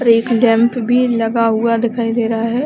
और एक डैम्प भी लगा हुआ दिखाई दे रहा है।